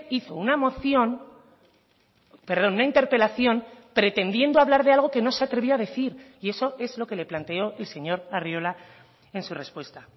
hizo una moción perdón una interpelación pretendiendo hablar de algo que no se atrevía a decir y eso es lo que le planteó el señor arriola en su respuesta